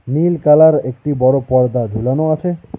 নীল colour একটি বড়ো পর্দা ঝোলানো আছে।